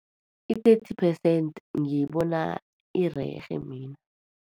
I-thirty percent, ngiyibona irerhe mina.